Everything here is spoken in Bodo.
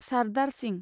सारदार सिंह